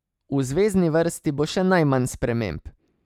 V zvezni vrsti bo še najmanj sprememb.